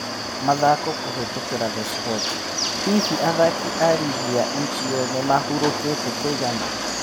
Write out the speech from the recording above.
( Mathako, kũhetũkĩra The Sports) Hihi athaki a Rigi ya Epale nĩ mahũrũkĩte kũigana ?